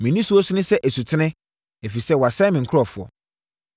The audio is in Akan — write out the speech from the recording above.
Me nisuo sene sɛ asutene ɛfiri sɛ wɔasɛe me nkurɔfoɔ.